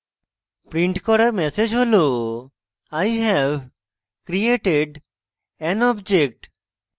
রিন্ট করা ম্যাসেজ হল i have created an object দেখবেন